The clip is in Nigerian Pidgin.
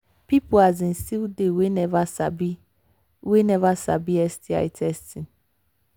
people um still they we never sabi we never sabi sti testing